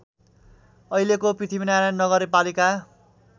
अहिलेको पृथ्वीनारायण नगरपालिका